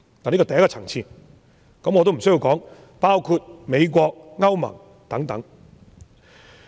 我也無須說，這些國家包括美國和歐盟等。